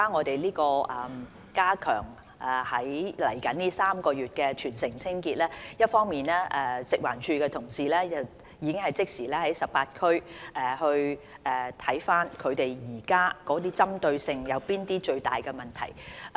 未來這3個月的全城清潔，一方面，食環署的同事已即時審視現時18區哪些需要針對的最大問題。